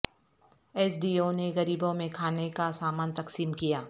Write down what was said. S D O نے غریبوں میں کھانے کا سامان تقسیم کیا